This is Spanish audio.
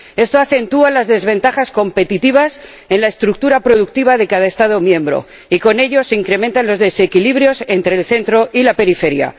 Esto acentúa las desventajas competitivas en la estructura productiva de cada Estado miembro, y con ello se incrementan los desequilibrios entre el centro y la periferia.